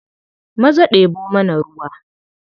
Maza ɗebo mana ruwa.